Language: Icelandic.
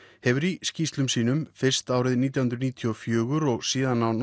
hefur í skýrslum sínum fyrst árið nítján hundruð níutíu og fjögur og síðan á